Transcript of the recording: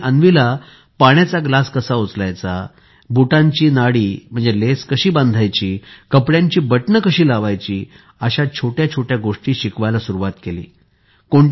त्यांनी अन्वीला पाण्याचा ग्लास कसा उचलायचा बुटांची नाडी लेस कशी बांधायची कपडयांची बटणं कशी लावायची अशा छोट्या छोट्या गोष्टी शिकवायला सुरुवात केली